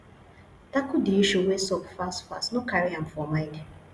tackle di issue wey sup fast fast no carry am for mind